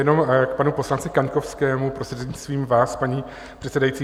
Jenom k panu poslanci Kaňkovskému, prostřednictvím vás, paní předsedající.